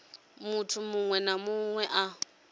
munthu muṅwe na muṅwe a